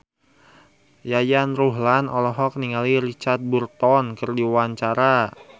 Yayan Ruhlan olohok ningali Richard Burton keur diwawancara